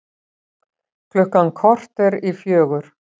Klukkan korter í fjögur